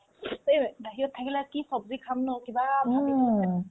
ঐ বাহিৰত আহিলে কি ছব্জি খাম ন কিবা